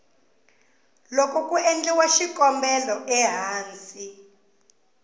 loko ku endliwa xikombelo ehansi